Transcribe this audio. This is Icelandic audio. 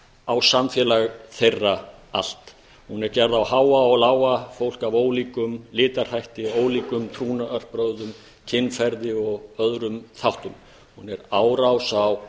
á samfélag þeirra allt hún er gerð á háa og lága fólk af ólíkum litarhætti ólíkum trúnaðarbrögðum kynferði og öðrum þáttum hún er árás á